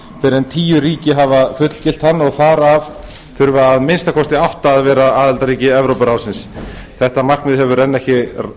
fyrr en tíu ríki hafa fullgilt hann og þar af þurfa að minnsta kosti átta að vera aðildarríki evrópuráðsins þetta markmið hefur ekki